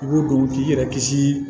I b'o don k'i yɛrɛ kisi